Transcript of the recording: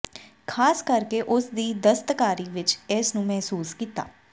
ਖ਼ਾਸ ਕਰਕੇ ਉਸ ਦੀ ਦਸਤਕਾਰੀ ਵਿਚ ਇਸ ਨੂੰ ਮਹਿਸੂਸ ਕੀਤਾ